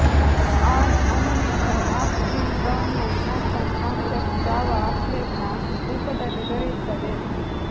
on animation of the Brownian motion concept Java applet ನ ರೂಪದಲ್ಲಿ ದೊರೆಯುತ್ತದೆ